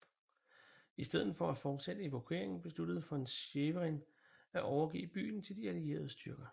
I stedet for at fortsætte evakueringen besluttede von Schwerin at overgive byen til de allierede styrker